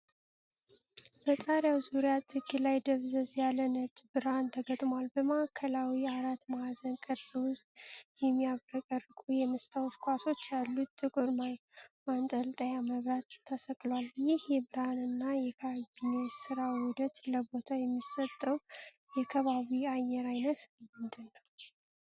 በጣሪያው ዙሪያ ጥግ ላይ ደብዘዝ ያለ ነጭ ብርሃን ተገጥሟል። በማዕከላዊው አራት ማዕዘን ቅርፅ ውስጥ፣ የሚያብረቀርቁ የመስታወት ኳሶች ያሉት ጥቁር ማንጠልጠያ መብራት ተሰቅሏል። ይህ የብርሃን እና የካቢኔ ስራ ውህደት ለቦታው የሚሰጠው የከባቢ አየር አይነት ምንድነው?